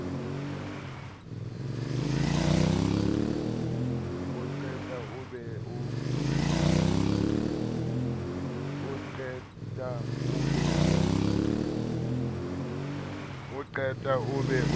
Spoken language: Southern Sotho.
o qeta o be o